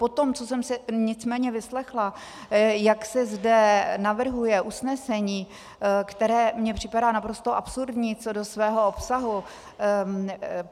Po tom, co jsem si nicméně vyslechla, jak se zde navrhuje usnesení, které mně připadá naprosto absurdní co do svého obsahu.